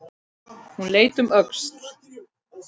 Hún leit um öxl.